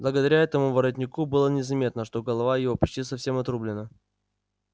благодаря этому воротнику было незаметно что голова его почти совсем отрублена